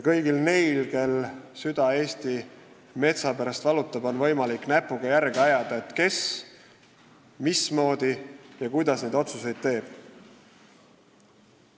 Kõigil neil, kel süda Eesti metsa pärast valutab, on võimalik näpuga järge ajada, kes ja mismoodi neid otsuseid teeb.